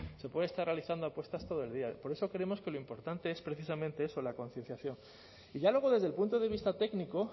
se puede estar realizando apuestas todo el día por eso creemos que lo importante es precisamente eso la concienciación y ya luego desde el punto de vista técnico